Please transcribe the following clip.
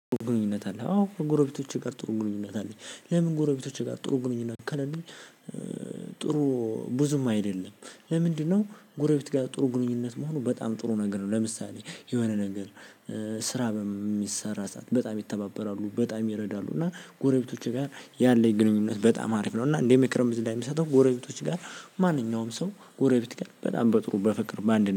"ግንኙነት አለህ?" አዎ ከጎረቤቶቼ ጋር ጥሩ ግንኙነት አለኝ። ለምን ጎረቤቶቼ ጋር ጥሩ ግንኙነት ከሌለኝ ጥሩ ብዙም አይደለም። ለምንድነው ጎረቤት ጋር ጥሩ ግንኙነት መሆኑ በጣም ጥሩ ነገር ነው። ለምሳሌ የሆነ ነገር ስራ በሚሰራ ሰዓት በጣም ይተባበራሉ በጣም ይረዳሉ እና ጎረቤቶቼ ጋር ያለኝ ግንኙነት በጣም አሪፍ ነው፤ እና እንደ ምክር እዚ ላይ የሚሰጠው ጎረቤቶች ጋር ማንኛውም ሰው ጎረቤት ጋር በጣም በጥሩ በፍቅር በአንድነት